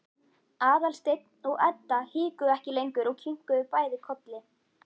Aðalsteinn og Edda hikuðu ekki lengur og kinkuðu bæði kolli.